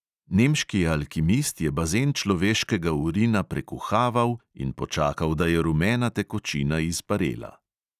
Nemški alkimist je bazen človeškega urina prekuhaval in počakal, da je rumena tekočina izparela.